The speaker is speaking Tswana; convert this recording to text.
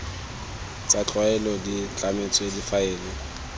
tsa tlwaelo di tlametswe difaele